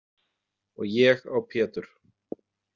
Og ég á Pétur.